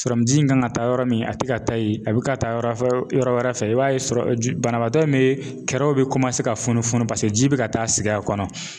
Sɔrɔmuji in kan ka taa yɔrɔ min a tɛ ka taa yen a bɛ ka taa yɔrɔfɛ yɔrɔ wɛrɛ fɛ i b'a ye banabaatɔ min bɛ kɛrɛw bɛ ka funufunu paseke ji bɛ ka taa sigi a kɔnɔ.